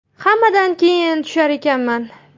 Hammadan keyin tushar ekanman.